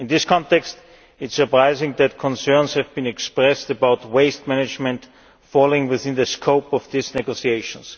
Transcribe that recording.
In this context it is surprising that concerns have been expressed about waste management falling within the scope of the negotiations.